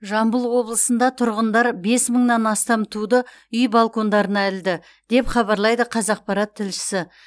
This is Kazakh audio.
жамбыл облысында тұрғындар бес мыңнан астам туды үй балкондарына ілді деп хабарлайды қазақпарат тілшісі